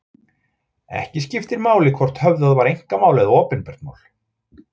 Ekki skiptir máli hvort höfðað var einkamál eða opinbert mál.